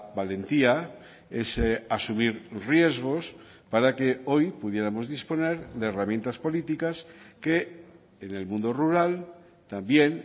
valentía ese asumir riesgos para que hoy pudiéramos disponer de herramientas políticas que en el mundo rural también